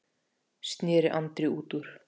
sneri Andri út úr.